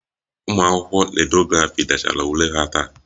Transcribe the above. Ụmụ akwụkwọ Rediografi dechara ule ha taa